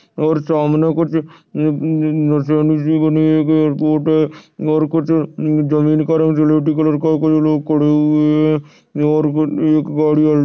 और सामने कुछ अ अ अ मशाल सी बनी हुई है और कुछ अ जमीन का रंग कलर का और कुछ लोग खड़े हुए है एक गाड़ी आई --